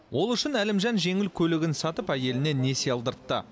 ол үшін әлімжан жеңіл көлігін сатып әйеліне несие алдыртты